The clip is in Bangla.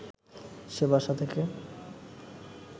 সে বাসা থেকে